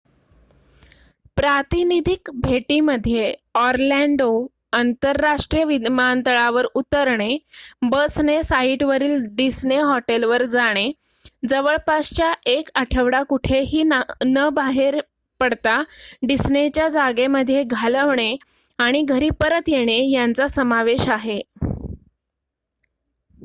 """प्रातिनिधिक" भेटीमध्ये ऑरलॅन्डो अंतरराष्ट्रीय विमानतळावर उतरणे बसने साइटवरील डिस्ने हॉटेलवर जाणे जवळपास एक आठवडा कुठेही बाहेर न पडता डिस्नेच्या जागेमध्ये घालवणे आणि घरी परत येणे यांचा समावेश आहे.